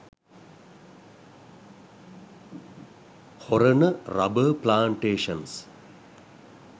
horana rubber plantations